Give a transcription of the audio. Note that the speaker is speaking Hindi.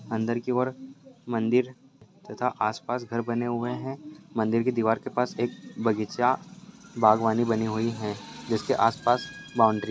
अन्दर की ओर मंदिर है तथा आस पास घर बने हुऐ है मंदिर की दिवार के पास एक बगीचा बागवानी बनी हुई है जिसके आस पास बाउन्ड्री --